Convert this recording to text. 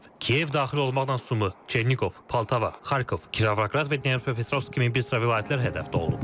Kiyev daxil olmaqla Sumu, Çerniqov, Poltava, Xarkov, Kirovoqrad və Dnepropetrovsk kimi bir sıra vilayətlər hədəfdə olub.